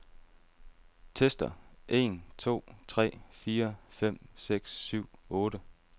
Tester en to tre fire fem seks syv otte.